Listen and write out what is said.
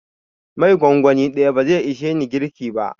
Mai gongoni ɗaya bazai ishe ni girki ba.